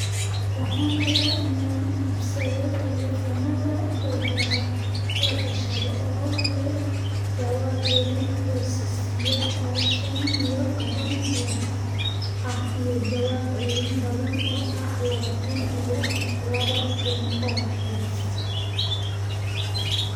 Waxaan rabaa inaan iibsado taleefoonnada dhegaha la gashado oo leh jawaab celin hooseeya oo shan iyo toban hertz ah iyo jawaab celin badan oo ah labaatan iyo laba kun oo hertz